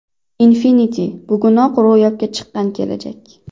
Infinity bugunoq ro‘yobga chiqqan kelajak!